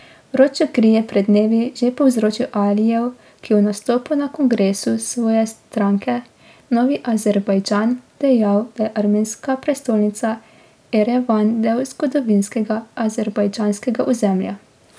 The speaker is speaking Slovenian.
Vročo kri je pred dnevi že povzročil Alijev, ki je v nastopu na kongresu svoje stranke Novi Azerbajdžan dejal, da je armenska prestolnica Erevan del zgodovinskega azerbajdžanskega ozemlja.